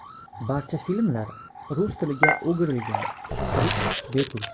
Barcha filmlar rus tiliga o‘girilgan, kirish bepul.